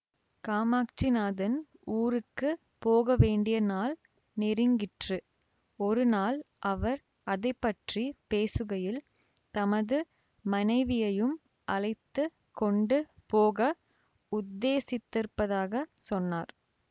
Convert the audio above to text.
காமாட்சிநாதன் ஊருக்கு போகவேண்டிய நாள் நெருங்கிற்று ஒரு நாள் அவர் அதை பற்றி பேசுகையில் தமது மனைவியையும் அழைத்து கொண்டு போக உத்தேசித்திருப்பதாகச் சொன்னார்